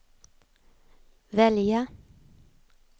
välja